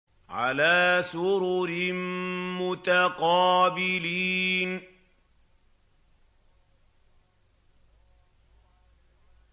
عَلَىٰ سُرُرٍ مُّتَقَابِلِينَ